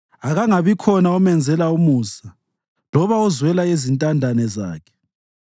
Akungabikhona omenzela umusa loba ozwela izintandane zakhe.